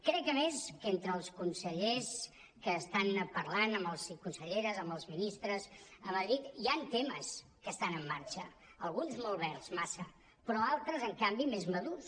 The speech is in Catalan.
crec a més que entre els consellers i conselleres que estan parlant amb els ministres a madrid hi han temes que estan en marxa alguns molt verds massa però altres en canvi més madurs